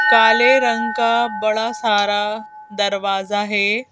काले रंग का बड़ा सारादरवाजा है।